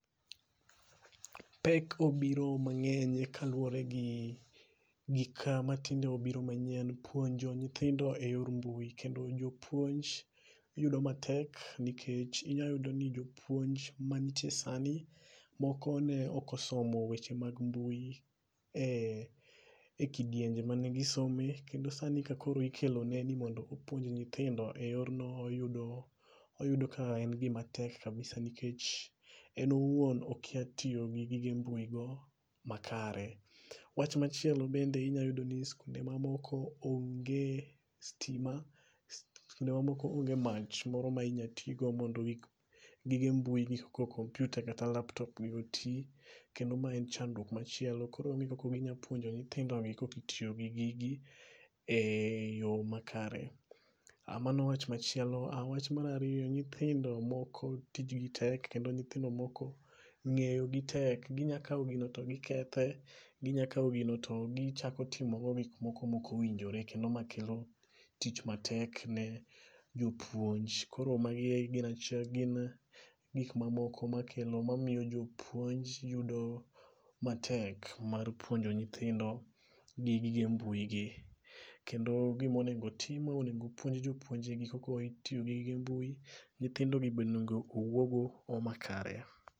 Pek obiro mangeny kaluore gi gik matinde obiro manyien, puonjo nyithindo e yor mbui kendo jopuonj winjo matek nikech niyalo yudo ni jopuonj manitie sani moko neok osomo weche mag mbui e kidienje mane gisome kendo sani kaka koro ikelo negi mondo gipuonj nyithindo e yorno oyudo ka en gima tek kabisa nikech en owuon okia tiyo gi gige mbui go e yo makare. Wach machielo bende iyudo ni skunde moko onge stima, skunde ma moko onge mach moko minyal tii go mondo gige mbui gik kaka kompyuta gi laptop otii kendo ma en chandruok machielo koro onge kaka kuma inyalo puonje nyithindi gi ka ok itiyo gi gigi eyo makare. Mano wach machielo, wach mar ariyo, nyithindi moko tijgi tek kendo nyithindo moko ngeyo gi tek, ginya kao gino to gikethe, ginya kao gino to gitimo go gigo maok owinjore kendo ma kelo tich matek ne jopuonj. Koro magi e gin, gin gik mamoko makelo, mamiyo jopuonj yudo matek mar puonjo nyithindo gi gige mbui gi kendo gima onego ,ma onego opuoj jopuonje kaka itiyo gi gige mbui, nyithindo gi be onego owuo go e yoo makare